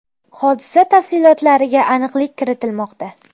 Hodisa tafsilotlariga aniqlik kiritilmoqda.